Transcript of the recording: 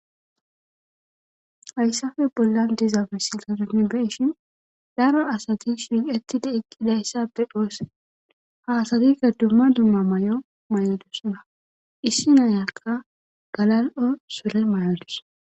Hayssafe bollan dizaabisina dummibeshin daro asati shuqetide eqqidayssappe dhoosse hasadiga dumma dumma ma'o may'o dussona issi nayakka galal'o sole mayodus.